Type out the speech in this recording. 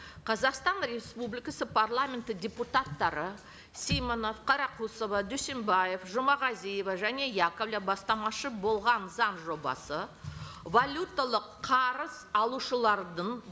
қазақстан республикасы парламенті депутаттары симонов қарақұсова дүйсенбаев жұмағазиева және яковлев бастамашы болған заң жобасы валюталық қарыз алушылардың